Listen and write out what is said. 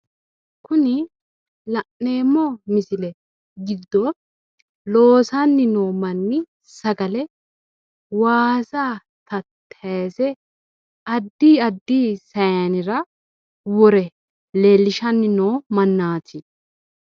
kuni la'neemmo misile giddo looosanni noo manni sagale waase tataayiise addi addi sayiinera wore leellishanni noo mannaati.